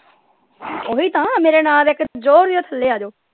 ਓਹੀ ਤਾਂ ਮੇਰਾ ਨਾ ਲੇ ਕੇ ਜੋਰ ਦੀ ਥੱਲੇ ਆਜੋ।